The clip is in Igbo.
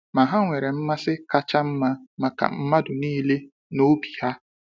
Ma ha nwere mmasị kacha mma maka mmadụ niile n’obi ha.